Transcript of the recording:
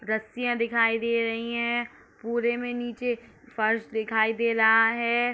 रस्सिया दिखाई दे रही है पूरे में नीचे फर्श दिखाई दे रहा है।